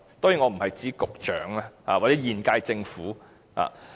當然，我不是指局長或現屆政府。